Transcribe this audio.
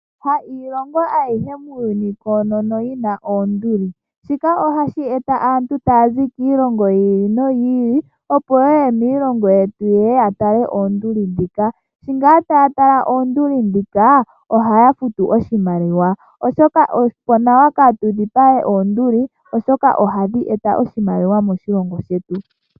Ha iilongo ayihe muuyuni koonono yi na oonduli. Shika ohashi eta aantu taya zi kiilongo yimwe, opo ye ye miilongo yetu yatale oonduli. Sho taya tala oonduli ohaya futu iimaliwa, opo nawa kaatu dhipage oonduli oshoka ohadhi eta oshimaliwa moshilongo shetu.